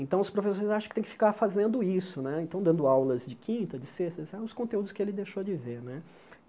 Então, os professores acham que tem que ficar fazendo isso né, então dando aulas de quinta, de sexta, os conteúdos que ele deixou de ver né.